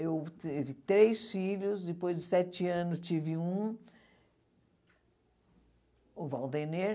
Eu tive três filhos, depois de sete anos tive um, o Valdener.